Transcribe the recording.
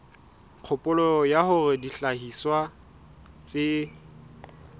kgopolo ya hore dihlahiswa tse